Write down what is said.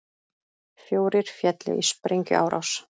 Fjórir féllu í sprengjuárás